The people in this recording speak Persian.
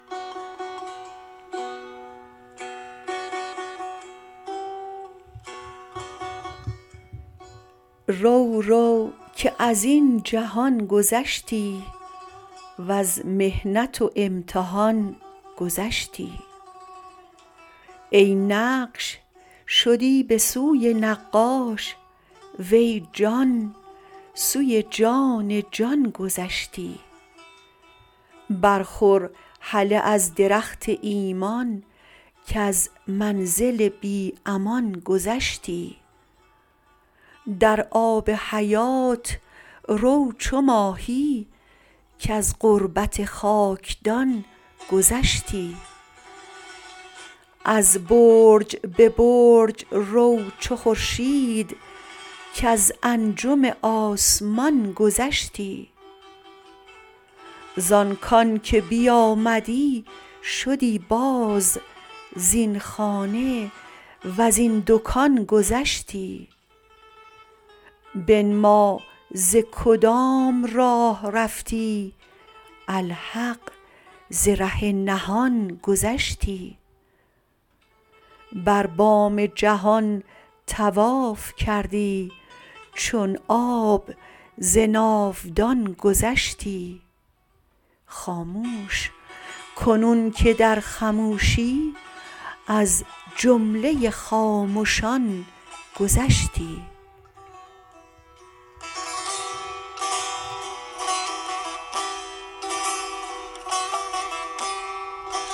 رو رو که از این جهان گذشتی وز محنت و امتحان گذشتی ای نقش شدی به سوی نقاش وی جان سوی جان جان گذشتی بر خور هله از درخت ایمان کز منزل بی امان گذشتی در آب حیات رو چو ماهی کز غربت خاکدان گذشتی از برج به برج رو چو خورشید کز انجم آسمان گذشتی زان کان که بیامدی شدی باز زین خانه و زین دکان گذشتی بنما ز کدام راه رفتی الحق ز ره نهان گذشتی بر بام جهان طواف کردی چون آب ز ناودان گذشتی خاموش کنون که در خموشی از جمله خامشان گذشتی